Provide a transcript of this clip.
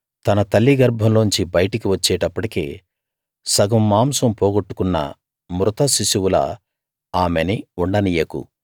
తన తల్లి గర్భంలోంచి బయటకి వచ్చేటప్పటికే సగం మాంసం పోగొట్టుకున్న మృతశిశువులా ఆమెని ఉండనీయకు